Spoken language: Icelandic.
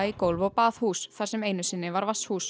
gólf og baðhús þar sem einu sinni var var